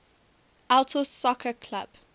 altos soccer club